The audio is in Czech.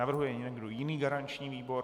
Navrhuje někdo jiný garanční výbor?